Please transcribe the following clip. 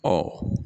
Ɔ